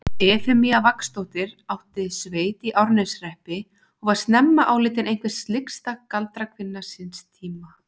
Efemía Vagnsdóttir átti sveit í Árneshreppi og var snemma álitin einhver slyngasta galdrakvinna síns tíma.